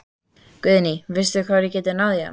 Guðný: Veistu hvar við getum náð í hann?